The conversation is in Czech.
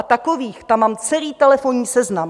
A takových tam mám celý telefonní seznam!